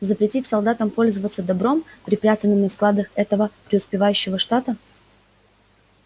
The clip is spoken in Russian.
запретить солдатам пользоваться добром припрятанным на складах этого преуспевающего штата